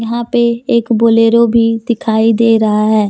वहाँ एक बोलेरो भी दिखाई दे रहा है।